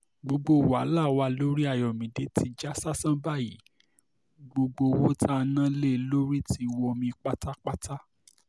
gbogbo wàhálà wa lórí ayọ̀mídé ti já sásán báyìí gbogbo owó tá a ná lé e lórí ti wọmi pátápátá